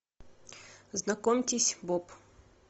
знакомьтесь боб